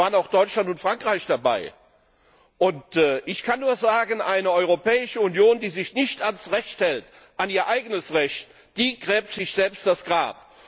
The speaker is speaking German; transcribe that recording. Da waren auch Deutschland und Frankreich dabei. Ich kann nur sagen Eine Europäische Union, die sich nicht an das Recht hält, an ihr eigenes Recht, die gräbt sich selbst das Grab.